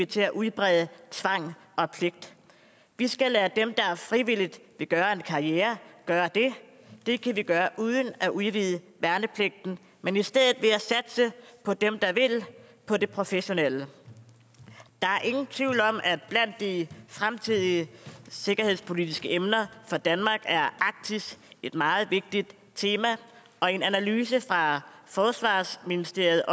til at udbrede tvang og pligt vi skal lade dem der frivilligt vil gøre en karriere gøre det det kan vi gøre uden at udvide værnepligten men i stedet ved at satse på dem der vil på de professionelle der er ingen tvivl om at blandt de fremtidige sikkerhedspolitiske emner for danmark er arktis et meget vigtigt tema og i en analyse fra forsvarsministeriet